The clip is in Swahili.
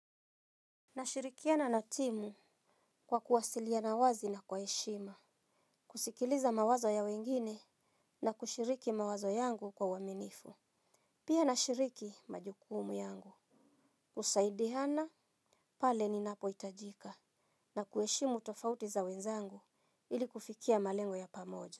Nashirikiana na timu kwa kuwasiliana wazi na kwa heshima. Kusikiliza mawazo ya wengine na kushiriki mawazo yangu kwa waminifu. Pia nashiriki majukumu yangu. Husaidihana pale ni napo itajika na kueshimu tofauti za wenzangu ili kufikia malengo ya pamoja.